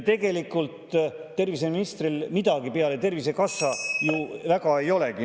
Tegelikult terviseministril midagi peale Tervisekassa ju väga ei olegi.